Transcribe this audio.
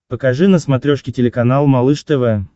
покажи на смотрешке телеканал малыш тв